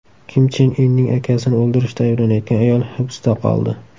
Kim Chen Inning akasini o‘ldirishda ayblanayotgan ayol hibsda qoldi.